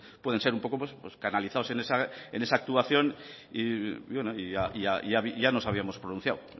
pueden ser un poco canalizados en esa actuación y ya nos habíamos pronunciado